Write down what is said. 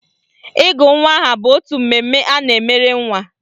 Ịgụ nwa aha bụ otu mmemme a na-emere nwa